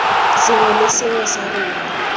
sengwe le sengwe sa rona